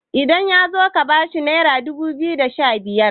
idan ya zo ka bashi naira dubu biyu da Sha biyar